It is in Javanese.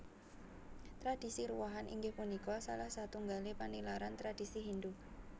Tradisi Ruwahan inggih punika salah satunggale panilaran tradisi Hindu